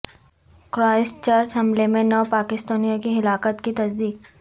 Christ church حملے میں نو پاکستانیوں کی ہلاکت کی تصدیق